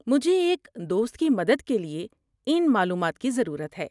مجھے ایک دوست کی مدد کے لیے ان معلومات کی ضرورت ہے۔